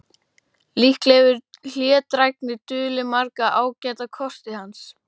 Líklega hefur hlédrægni dulið marga ágæta kosti hans.